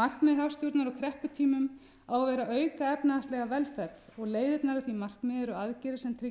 markmið hagstjórnar á krepputímum á að vera að auka efnahagslega velferð og leiðirnar að því markmiði eru aðgerðir sem tryggja